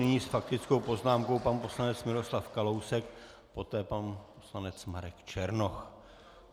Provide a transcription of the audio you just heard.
Nyní s faktickou poznámkou pan poslanec Miroslav Kalousek, poté pan poslanec Marek Černoch.